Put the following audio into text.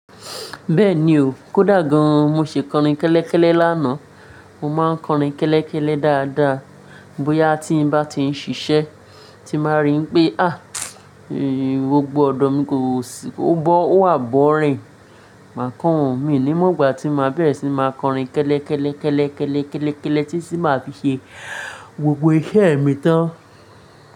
Bẹ́ẹ̀ni o, kódà gan-an mo ṣe kọrin kẹ́lẹ́kẹ́lẹ́ lánàá. Mo máa ń kọrin kẹ́lẹ́kẹ́lẹ́ dáadáa. Bóyá tí n bá ti ń ṣiṣẹ́, tí báa rí pé à, gbogbo ọ̀dọ́ mi kò sì, ó bọ́, ó wà bọ̀rín. Màá kọ orin, mi ní mògbà tí màá bẹ̀rẹ̀ síí máa kọrin kẹ́lẹ́kẹ́lẹ́ kẹ́lẹ́kẹ́lẹ́ kẹ́lẹ́kẹ́lẹ́ tí sì máa fi ṣe gbogbo iṣẹ́ mi tán.